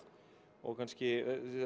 og kannski